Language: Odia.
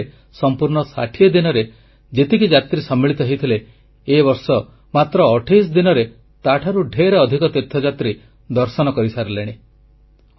2015 ମସିହାରେ ସମ୍ପୂର୍ଣ୍ଣ 60 ଦିନରେ ଯେତେ ଯାତ୍ରୀ ସମ୍ମିଳିତ ହୋଇଥିଲେ ଏ ବର୍ଷ ମାତ୍ର ଅଠେଇଶ ଦିନରେ ତାଠାରୁ ଢେର ଅଧିକ ତୀର୍ଥଯାତ୍ରୀ ଦର୍ଶନ କରିସାରିଲେଣି